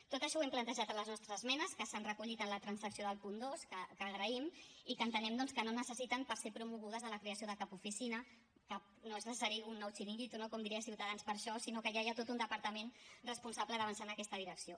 tot això ho hem plantejat a les nostres esmenes que s’han recollit en la transacció del punt dos que agraïm i que entenem doncs que no necessiten per ser promogudes la creació de cap oficina que no és necessari un nou xiringuito no com diria ciutadans per a això sinó que ja hi ha tot un departament responsable d’avançar en aquesta direcció